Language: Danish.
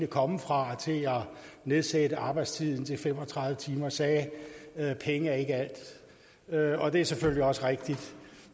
komme fra til at nedsætte arbejdstiden til fem og tredive timer sagde at penge ikke er alt og det er selvfølgelig også rigtigt